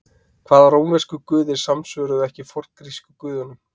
hvaða rómversku guðir samsvöruðu ekki forngrísku guðunum